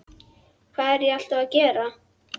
Hvað er ég alltaf að gera?